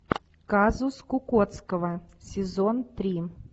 казус кукоцкого сезон три